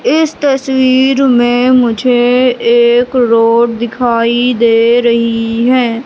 इस तस्वीर में मुझे एक रोड दिखाई दे रही हैं।